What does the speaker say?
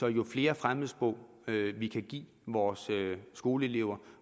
at jo flere fremmedsprog vi kan give vores skoleelever